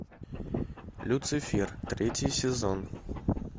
люцифер третий сезон